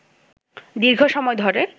দীর্ঘ সময় ধরে